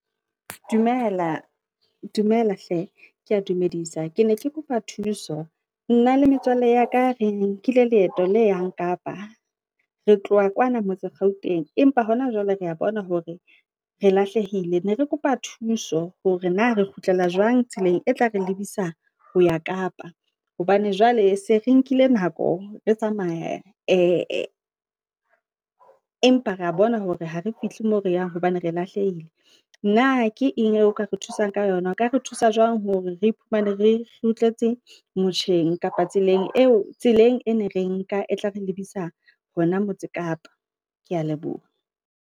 Dumela, dumela hle, Kea dumedisa, Ke ne ke kopa thuso, nna le metswalle ya ka Re nkile leeto la yang kapa, re tloha kwana motse Gauteng, empa hona jwale rea bona hore, re lahlehile, ne re kopa thuso hore na re kgutlela jwang tseleng e tla re lebisa ho ya kapa, hobane jwale se re nkile nako re tsamaye e, empa ra bona hore ha re fihle moo re yang, hobane re e lahlehile. Nna ke eng eo ka re thusang ka yona? O ka re thusa jwang hore re iphumane re kgutletse motjheng kapa Tseleng eo? Tseleng e ne re nka e tla re lebisa hona Motse Kapa kea leboha.